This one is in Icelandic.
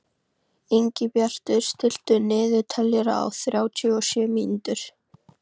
Ingibjartur, stilltu niðurteljara á þrjátíu og sjö mínútur.